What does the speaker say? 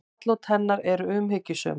Atlot hennar eru umhyggjusöm.